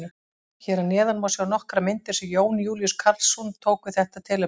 Hér að neðan má sjá nokkrar myndir sem Jón Júlíus Karlsson tók við þetta tilefni.